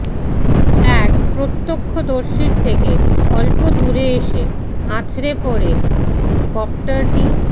এক প্রত্যক্ষদর্শীর থেকে অল্প দূরে এসে আছড়ে পড়ে কপ্টারটি